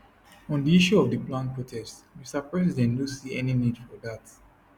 on di issue of di planned protest mr president no see any any need for dat